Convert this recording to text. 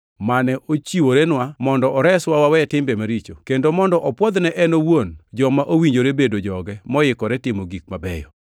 mane ochiworenwa mondo oreswa wawe timbe maricho kendo mondo opwodh ne en owuon joma owinjore bedo joge, moikore timo gik mabeyo.